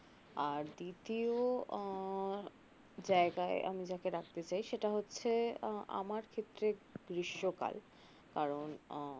আর দ্বিতীয় আহ যায়গায় আমি যাকে রাখতে চাই সেটা হচ্ছে আহ আমার ক্ষেত্রে গ্রীষ্মকাল কারন